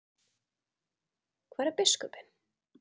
Hvar er biskupinn?